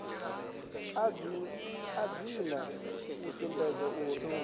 a dzina u sumbedza uri